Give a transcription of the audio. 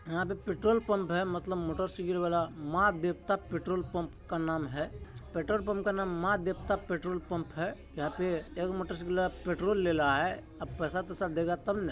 यहां पे petrol pump है मतलब मोटर साइकिल वाला माँ देवता पेट्रोल पम्प का नाम है पेट्रोल पम्प का नाम माँ देवता पेट्रोल पम्प है यहां पे एगो मोटर साइकिल वाला पेट्रोल ले ला है अब पैसा तेसा देगा तब ना --